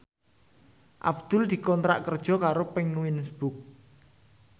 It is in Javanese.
Abdul dikontrak kerja karo Penguins Books